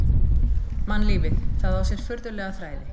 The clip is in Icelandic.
Mannlífið,- það á sér furðulega þræði.